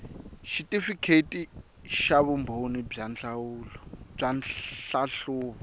xitifikheti xa vumbhoni bya nhlahluvo